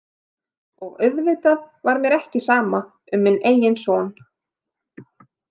Og auðvitað var mér ekki sama um minn eigin son.